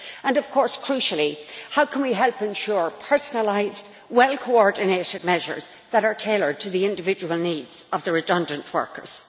and, of course, crucially, how we can help ensure personalised, well coordinated measures that are tailored to the individual needs of the redundant workers.